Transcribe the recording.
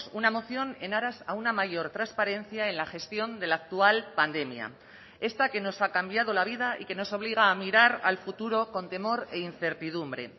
una moción en aras a una mayor transparencia en la gestión de la actual pandemia esta que nos ha cambiado la vida y que nos obliga a mirar al futuro con temor e incertidumbre